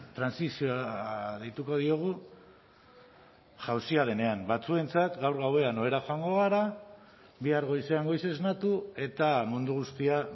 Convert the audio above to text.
trantsizioa deituko diogu jauzia denean batzuentzat gaur gauean ohera joango gara bihar goizean goiz esnatu eta mundu guztia